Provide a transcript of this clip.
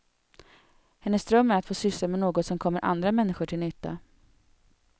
Hennes dröm är att få syssla med något som kommer andra människor till nytta.